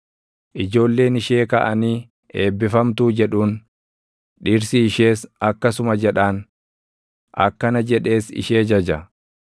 Ijoolleen ishee kaʼanii, eebbifamtuu jedhuun; dhirsi ishees akkasuma jedhaan; akkana jedhees ishee jaja: